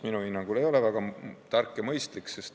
Minu hinnangul see ei ole väga tark ega mõistlik.